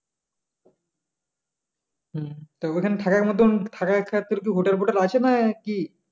হম তা ওখানে থাকার মতন থাকার hotel fotel আছে না কি?